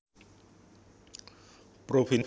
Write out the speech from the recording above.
Provinsi iki dumunung ana ing region Sardinia